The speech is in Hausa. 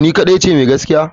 To ni kadai ce mai gaskiya?